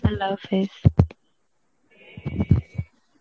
Allah Arbi .